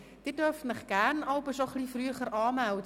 Sie dürfen sich gerne jeweils etwas früher anmelden.